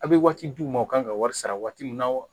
A bɛ waati di u ma u ka kan ka wari sara waati min na